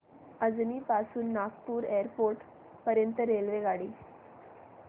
अजनी पासून नागपूर एअरपोर्ट पर्यंत रेल्वेगाडी